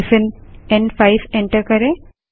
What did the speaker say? hyphen एन5 enter करें